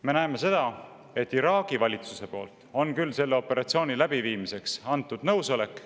Me näeme seda, et Iraagi valitsus on küll andnud selle operatsiooni läbiviimiseks nõusoleku.